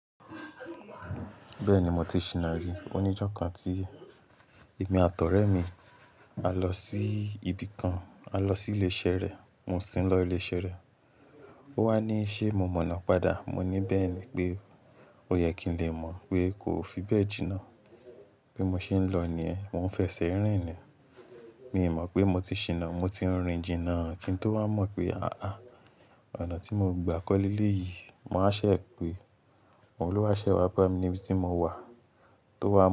Bẹ́ẹ̀ni, mo ti ṣiná rí. Oníjó kan tí èmi àtọ̀ rẹ mi, a lọ sí ibi kan, a lọ sí ilé iṣẹ́ rẹ̀. Mo sin lọ ilé iṣẹ́ rẹ̀. Ó wá ní, "Ṣé mo mọ̀nà padà?" Mo ní, "Bẹ́ẹ̀ni pé ó yẹ kí n lè mọ̀ pé kò fi bẹ́ẹ̀ jìnnà." Bí mo ṣe ń lọ ni ẹ́, mo ń fẹsẹ̀ rìn ni. Mi ò mọ̀ pé mo ti ṣiná, mo ti ń rìn jìnnà. Tí n tó wá mọ̀ pé, àáà, ọ̀nà tí mo gbà kọ́ lé lé yìí, màá ṣẹ̀ pe, òun ló wá ṣẹ̀ wá bá mi níbi tí mo wà. Tó wá.